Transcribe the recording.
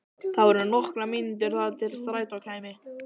Það voru nokkrar mínútur þar til strætó kæmi.